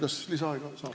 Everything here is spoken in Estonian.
Kas lisaaega saab?